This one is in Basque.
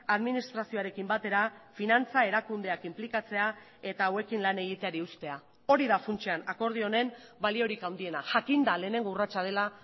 administrazioarekin batera finantza erakundeak inplikatzea eta hauekin lan egiteari uztea hori da funtsean akordio honen baliorik handiena jakinda lehenengo urratsa dela